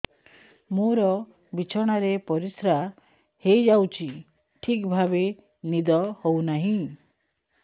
ମୋର ବିଛଣାରେ ପରିସ୍ରା ହେଇଯାଉଛି ଠିକ ଭାବେ ନିଦ ହଉ ନାହିଁ